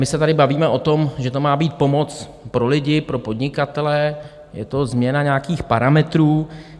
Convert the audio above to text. My se tady bavíme o tom, že to má být pomoc pro lidi, pro podnikatele, je to změna nějakých parametrů.